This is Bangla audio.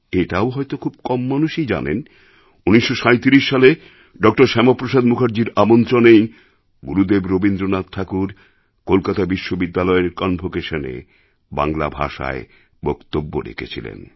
এটাও হয়তো খুব কম মানুষ জানেন ১৯৩৭ সালে ড শ্যামাপ্রসাদ মুখার্জির আমন্ত্রণেই গুরুদেব রবীন্দ্রনাথ ঠাকুর কলকাতা বিশ্ববিদ্যালয়ের কনভোকেশনে বাংলা ভাষায় বক্তব্য রেখেছিলেন